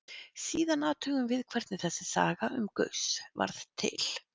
Síðan athugum við hvernig þessi saga um Gauss varð til.